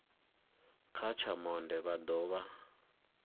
kha tsha monde vha dovha